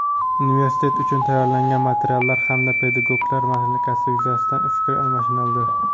universitet uchun tayyorlangan materiallar hamda pedagoglar malakasi yuzasidan fikr almashinildi.